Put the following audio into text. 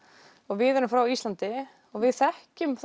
við erum frá Íslandi og við þekkjum